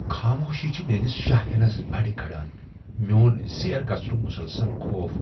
خاموشی چھِ میٲنِس شاہ ہینس بٕڈِ كران ، میون زیر گژھنٗك مٗسلسل خوف ۔